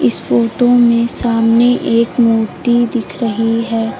इस फोटो में सामने एक मूर्ति दिख रही है।